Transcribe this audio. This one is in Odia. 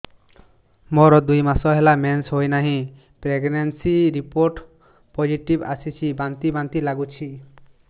ମୋର ଦୁଇ ମାସ ହେଲା ମେନ୍ସେସ ହୋଇନାହିଁ ପ୍ରେଗନେନସି ରିପୋର୍ଟ ପୋସିଟିଭ ଆସିଛି ବାନ୍ତି ବାନ୍ତି ଲଗୁଛି